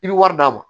I bɛ wari d'a ma